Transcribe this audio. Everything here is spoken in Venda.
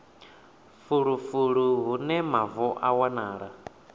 fulufulu hune mavu a wanala